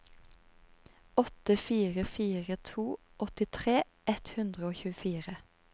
åtte fire fire to åttitre ett hundre og tjuefire